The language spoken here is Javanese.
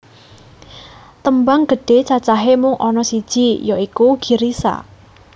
Tembang gedhe cacahe mung ana siji ya iku Girisa